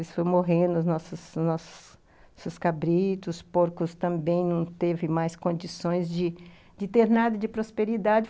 Isso foi morrendo os nossos nossos nossos cabritos, os porcos também não teve mais condições de de ter nada de prosperidade.